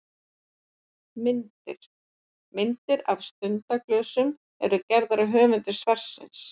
Myndir: Myndir af stundaglösum eru gerðar af höfundi svarsins.